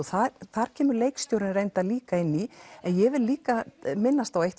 þar kemur leikstjórinn líka inn í ég vil líka minnast á eitt